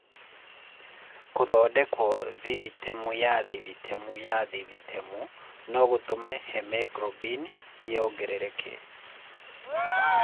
Kũthondekwo thithitemu ya thithitemu ya thithitemu no gũtũme hemoglobini ĩongerereke.